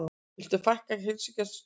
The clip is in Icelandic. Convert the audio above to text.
Vilja fækka heilsugæslustöðvum